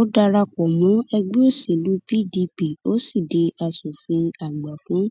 ó darapọ mọ ẹgbẹ òṣèlú pdp ó sì di asòfin àgbà fún